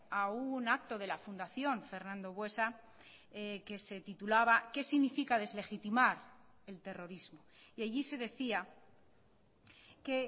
a un acto de la fundación fernando buesa que se titulaba qué significa deslegitimar el terrorismo y allí se decía que